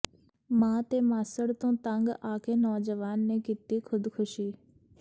ਮਾਂ ਤੇ ਮਾਸੜ ਤੋਂ ਤੰਗ ਆ ਕੇ ਨੌਜਵਾਨ ਨੇ ਕੀਤੀ ਖ਼ੁਦਕੁਸ਼ੀ